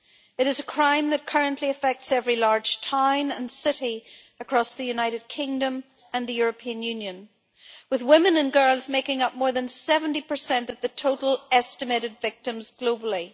It is a crime that currently affects every large town and city across the United Kingdom and the European Union, with women and girls making up more than 70 of the total estimated number of victims globally.